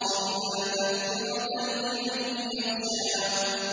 إِلَّا تَذْكِرَةً لِّمَن يَخْشَىٰ